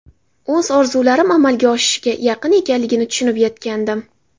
O‘z orzularim amalga oshishiga yaqin ekanligini tushunib yetgandim.